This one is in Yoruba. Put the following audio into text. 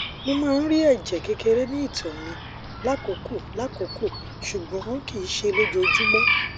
mo máa ń rí ẹjẹ kékeré ní ìtoẹ mi lákòókò lákòókò ṣùgbọn kìí ṣe ojoojúmọ